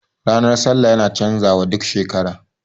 Ranar sallah yana canza wa duk shekara